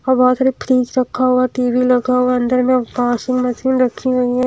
और बहुत सारी फ्रिज रखा हुआ टी_वी लगा हुआ है अंदर में वाशिंग मशीन रखी हुई है।